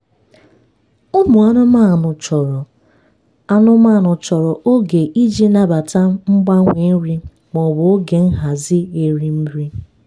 ụmụ anụmanụ chọrọ anụmanụ chọrọ oge iji nabata mgbanwe nri maọbụ oge nhazi erim nri.